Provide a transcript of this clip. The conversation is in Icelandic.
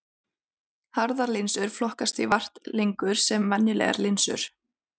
Harðar linsur flokkast því vart lengur sem venjulegar linsur.